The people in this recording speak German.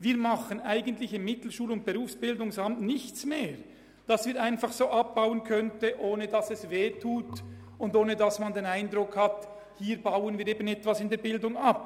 Wir tun im Mittelschul- und Berufsbildungsamt (MBA) nichts mehr, das wir einfach so abbauen könnten, ohne dass es wehtut und ohne dass man den Eindruck hat, man baue etwas bei der Bildung ab.